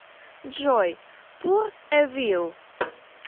джой пур эвил